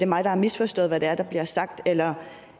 mig der har misforstået hvad der der bliver sagt eller